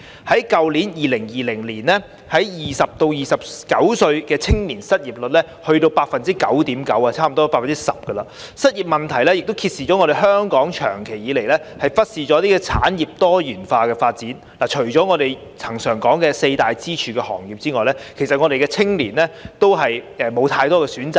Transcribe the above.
在去年2020年 ，20 歲至29歲青年的失業率達 9.9%， 差不多 10%， 失業問題亦揭示香港長期以來忽視產業多元化發展，除了我們恆常提到的四大支柱行業外，其實我們的青年人也沒有太多選擇。